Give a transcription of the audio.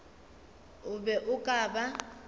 o be o ka ba